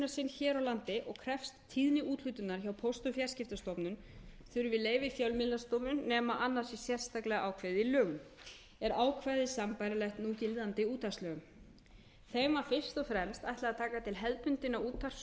hér á landi og krefst tíðni úthlutunar hjá póst og fjarskiptastofnun þurfi leyfi fjölmiðlastofu nema annað sé sérstaklega ákveðið í lögum er ákvæðið sambærilegt núgildandi útvarpslögum þeim var fyrst og fremst ætlað að taka til hefðbundinna útvarps og